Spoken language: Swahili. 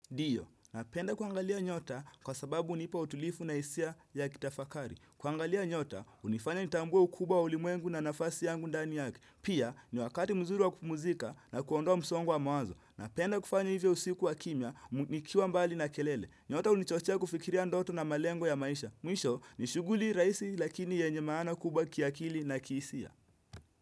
Ndiyo, napenda kuangalia nyota kwa sababu unipautulifu na hisia ya kitafakari. Kuangalia nyota, unifanya nitambwe ukuba ulimwengu na nafasi yangu ndani yaki. Pia, ni wakati mzuri wa kupumzika na kuondoa msongo mawazo. Napenda kufanya hivo usiku wa kina, nikiwa mbali na kelele. Nyota hunichochea kufikiria ndoto na malengo ya maisha. Mwisho, nishughuli rahisi lakini yenye maana kubwa kiakili na kihisia.